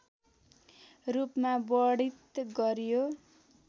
रूपमा वर्णित गर्‍यो